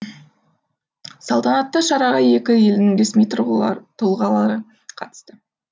салтанатты шараға екі елдің ресми тұлғалары қатысты